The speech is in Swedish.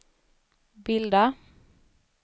bilda